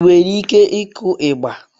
Ị nwere ike ịkụ ịgba?